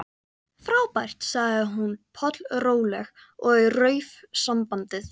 Frábært sagði hún pollróleg og rauf sambandið.